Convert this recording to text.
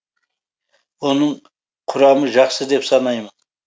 оның құрамы жақсы деп санаймын